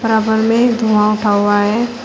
बराबर में धुआं उठा हुआ है।